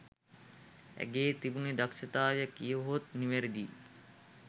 ඇගේ තිබුණු දක්ෂතාවය කීවොත් නිවැරදියි.